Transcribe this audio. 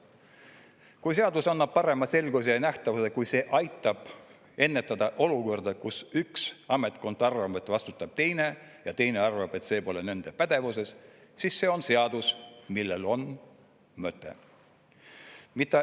Kui seadus annab parema selguse ja nähtavuse, kui see aitab ennetada olukorda, kus üks ametkond arvab, et vastutab teine, ja teine arvab, et see pole nende pädevuses, siis see on seadus, millel on mõte.